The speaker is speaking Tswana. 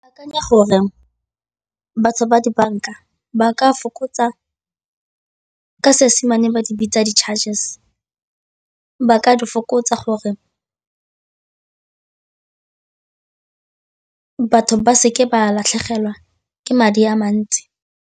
Ke akanya gore batho ba dibanka ba ka fokotsa ka Seesemane ba di bitsa di-charges, ba ka difokotsa gore batho ba seke ba latlhegelwa ke madi a mantsi.